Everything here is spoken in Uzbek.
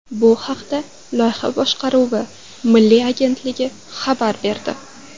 Bu haqda Loyiha boshqaruvi milliy agentligi xabar berdi .